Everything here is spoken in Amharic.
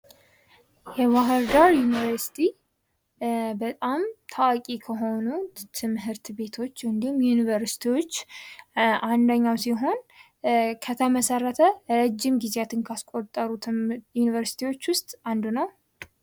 የባህርዳር ዩኒቨርስቲ በጣም ታዋቂ ከሆኑ ትምህርት ቤቶች እንዲሁም ዩኒቨርሲቲዎች አንደኛው ሲሆን ከተመሠረተ ረጅም ጊዜያትን ካስቆጠሩ ዩኒቨርስቲዎች ውስጥ አንዱ ነው ።